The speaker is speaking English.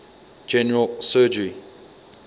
general surgery